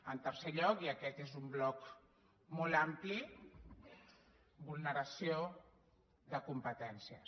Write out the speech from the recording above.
en tercer lloc i aquest és un bloc molt ampli vulneració de competències